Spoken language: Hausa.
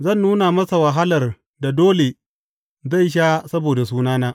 Zan nuna masa wahalar da dole zai sha saboda sunana.